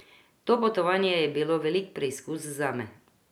To potovanje je bilo velik preizkus zame.